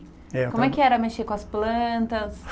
É. Como é que era mexer com as plantas?